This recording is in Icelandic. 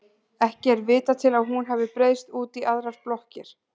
ekki er vitað til að hún hafi breiðst út í aðrar blokkir